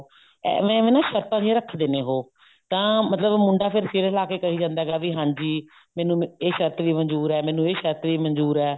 ਐਵੇਂ ਐਵੇਂ ਨਾ ਸ਼ਰਤਾਂ ਜੀਆਂ ਰੱਖਦੇ ਨੇ ਉਹ ਤਾਂ ਮਤਲਬ ਮੁੰਡਾ ਫੇਰ ਫੇਰੇ ਲੈਕੇ ਕਹਿ ਜਾਂਦਾ ਹੈ ਬੀ ਹਾਂਜੀ ਮੈਨੂੰ ਇਹ ਸ਼ਰਤ ਵੀ ਮਨਜੂਰ ਹੈ ਇਹ ਸ਼ਰਤ ਵੀ ਮਨਜੂਰ ਹੈ